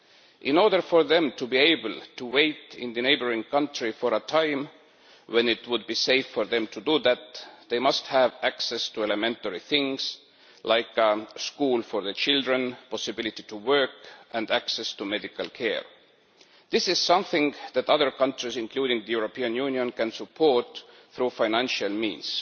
In order for them to be able to wait in the neighbouring country for a time when it would be safe for them to do that, they must have access to elementary things like schools for the children, the possibility to work and access to medical care. This is something that other countries, including the European Union, can support through financial means.